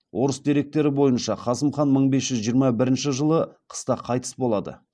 орыс деректері бойынша қасым хан мың бес жүз жиырма бірінші жылы қыста қайтыс болады